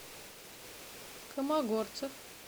комогорцев